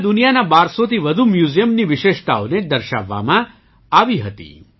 તેમાં દુનિયાના 1200 થી વધુ મ્યૂઝિયમની વિશેષતાઓને દર્શાવવામાં આવી હતી